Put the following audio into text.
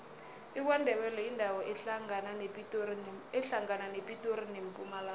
ikwandebele yindawo ehlangana nepitori nempumalanga